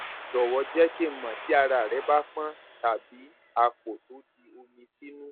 jọwọ jẹ kí n mọ tí ara rẹ bá pọn tàbí àpò tó di omi sínú